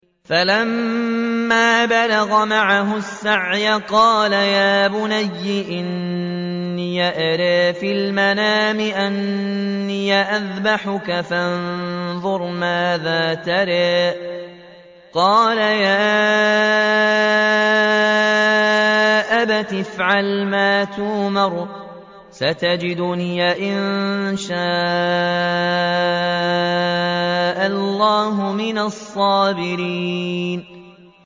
فَلَمَّا بَلَغَ مَعَهُ السَّعْيَ قَالَ يَا بُنَيَّ إِنِّي أَرَىٰ فِي الْمَنَامِ أَنِّي أَذْبَحُكَ فَانظُرْ مَاذَا تَرَىٰ ۚ قَالَ يَا أَبَتِ افْعَلْ مَا تُؤْمَرُ ۖ سَتَجِدُنِي إِن شَاءَ اللَّهُ مِنَ الصَّابِرِينَ